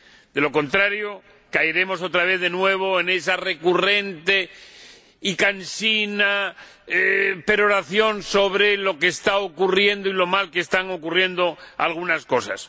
De lo contrario, caeremos otra vez de nuevo en esa recurrente y cansina peroración sobre lo que está ocurriendo y lo mal que están ocurriendo algunas cosas.